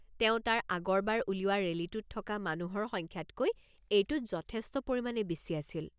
তেওঁ তাৰ আগৰবাৰ উলিওৱা ৰেলীটোত থকা মানুহৰ সংখ্যাতকৈ এইটোত যথেষ্ট পৰিমাণে বেছি আছিল।